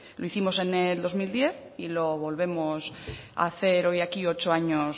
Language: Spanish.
lo hicimos en el dos mil diez y lo volvemos a hacer hoy aquí ocho años